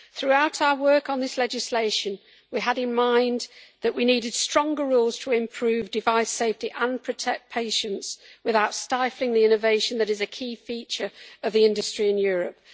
Throughout our work on this legislation, we had in mind that we needed stronger rules to improve device safety and protect patients without stifling the innovation that is a key feature of the industry in Europe.